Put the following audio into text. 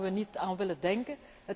generatie. Daar mogen we niet